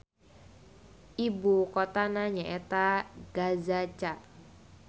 Ibu kotana nyaeta Gazaca.